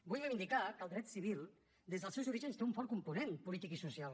vull reivindicar que el dret civil des dels seus orígens té un fort component polític i social